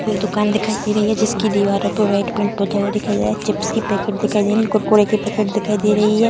ये दुकान दिखाई दे रही है जिसकी दीवारों पे वाइट पेंट पोता हुआ दिखाई दे रहा है चिप्स की पैकेट दिखाई दे रही है कुरकुरे की पैकेट दिखाई दे रही है।